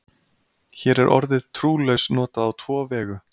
Hér er orðið trúlaus notað á tvo vegu.